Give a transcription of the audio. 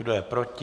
Kdo je proti?